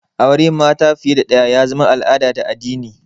Auran mata fiye da ɗaya ya zama al'ada da addini